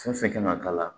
Fɛn fɛn kan ka k'a la